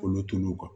Olu tun